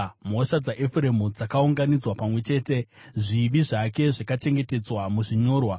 Mhosva dzaEfuremu dzakaunganidzwa pamwe chete, zvivi zvake zvakachengetedzwa muzvinyorwa.